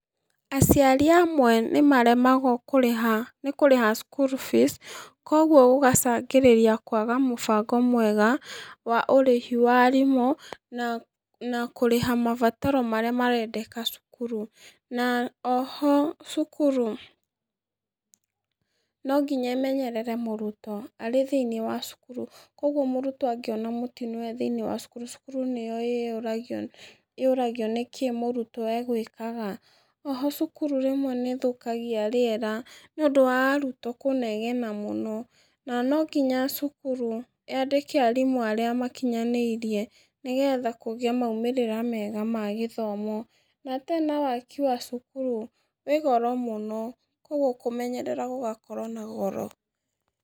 Aciari amwe nĩmaremagwo kũrĩha nĩ kurĩha school fees koguo gũgacangĩrĩria kwaga mũbango mwega wa ũrĩhi wa arimũ, na na kũrĩha mabataro maria marendeka cukuru, na oho cukuru nonginya ĩmenyerere mũrutwo arĩ thĩ-inĩ wa cukuru, koguo mũrutwo angĩona mũtino e thĩ-inĩ wa cukuru cukuru nĩyo ĩyũragia yũragia nĩkĩ mũrutwo egwĩkaga, oho cukuru rĩmwe nĩthũkagia rĩera, nĩũndũ wa arutwo kũnegena mũno, na nonginya cukuru yandĩke arimũ arĩa makinyanĩirie, nĩgetha kũgĩe na maumĩrĩra mega ma gĩthomo, na tena waki wa cukuru wĩ goro mũno koguo kũmenyerera gũgakorwo na goro.